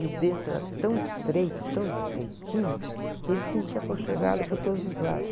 E o berço era tão estreito, tão estreitinho, que ele se sentia aconchegado por todos os lados.